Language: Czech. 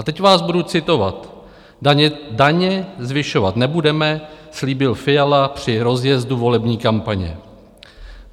A teď vás budu citovat: "Daně zvyšovat nebudeme," slíbil Fiala při rozjezdu volební kampaně.